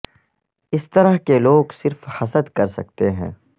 اس طرح کے لوگ صرف حسد کر سکتے ہیں